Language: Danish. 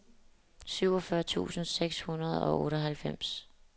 syvogfyrre tusind seks hundrede og otteoghalvfems